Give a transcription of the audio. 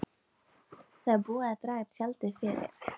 Það er búið að draga tjaldið fyrir.